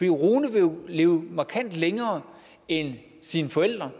rune vil jo leve markant længere end sine forældre